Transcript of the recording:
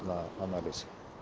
на анализ